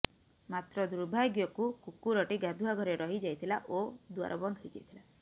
ମାତ୍ର ଦୁର୍ଭାଗ୍ୟକୁ କୁକୁରଟି ଗାଧୁଆ ଘରେ ରହି ଯାଇଥିଲା ଓ ଦୁଆର ବନ୍ଦ ହୋଇ ଯାଇଥିଲା